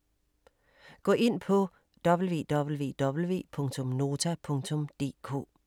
Gå ind på www.nota.dk